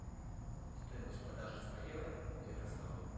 стоимость продажи ста евро в ярославле